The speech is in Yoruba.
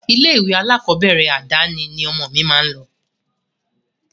Ilé-ìwé alákọ̀ọ́bẹ̀rẹ̀ àdáni ni ọmọ mi máa lọ.